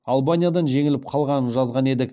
албаниядан жеңіліп қалғанын жазған едік